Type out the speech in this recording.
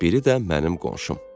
Biri də mənim qonşum.